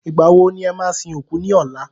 Ìgbà wo ni e máa sin òkú ní ọ̀la?